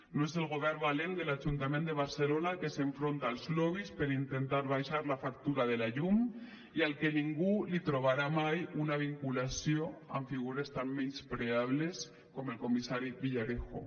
no és el govern valent de l’ajuntament de barcelona que s’enfronta als lobbys per intentar abaixar la factura de la llum i al que ningú li trobarà mai una vinculació amb figures tan menyspreables com el comissari villarejo